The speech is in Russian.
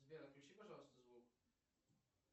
сбер отключи пожалуйста звук